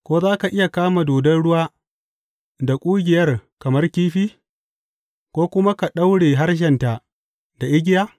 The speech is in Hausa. Ko za ka iya kama dodon ruwa da ƙugiyar kamar kifi ko kuma ka daure harshenta da igiya?